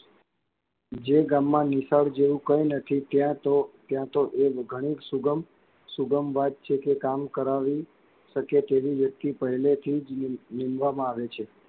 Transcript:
જે ગામમાં નિશાળ જેવુ કઇં નથી ત્યાં તો, ત્યાં તો ઘણી સુગમ, સુગમ વાત છે કે કામ કરવી શકે તેવી વ્યક્તિ પહેલેથી જ નીમવામાં આવે છે.